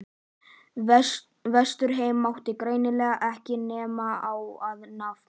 Vesturheim mátti hreinlega ekki nefna á nafn.